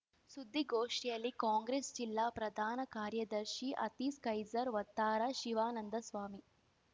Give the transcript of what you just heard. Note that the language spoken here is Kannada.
ಸುದ್ದಿಗೋಷ್ಠಿಯಲ್ಲಿ ಕಾಂಗ್ರೆಸ್‌ ಜಿಲ್ಲಾ ಪ್ರಧಾನ ಕಾರ್ಯದರ್ಶಿ ಅತೀಸ್ ಖೈಸರ್‌ ವತ್ತಾರ ಶಿವಾನಂದಸ್ವಾಮಿ